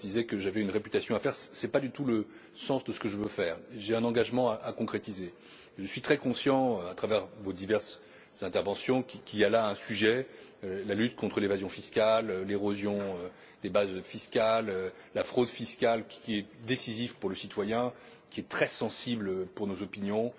l'heure, M. Lamberts disait que j'avais une réputation à faire. Ce n'est pas du tout le sens de ce que je veux faire. J'ai un engagement à concrétiser. Je suis très conscient, à travers vos diverses interventions, qu'il y a là un sujet la lutte contre l'évasion fiscale, l'érosion des bases fiscales, la fraude fiscale qui est décisif pour le citoyen, qui est très sensible pour